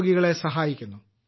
രോഗികളെ സഹായിക്കുന്നു